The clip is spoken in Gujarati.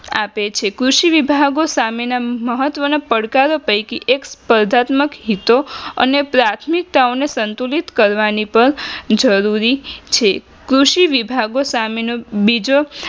આપે છે કૃષિ વિભાગો સામેના મહત્વના પડકારો પૈકી એક સસ્પર્ધાત્મક હેતુ અને પ્રાથમિકતાઓ સંતુલિત કરવાની પણ જરૂરી છે કૃષિ વિભાગો સામેનો બીજો